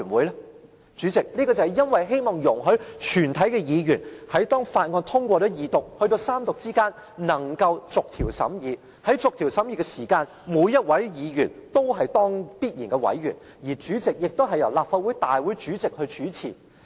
代理主席，這是因為希望容許全體議員在法案通過二讀至三讀之間能夠逐項審議，而在逐項審議時，每一位議員都是必然委員，而主席亦由立法會大會主席主持。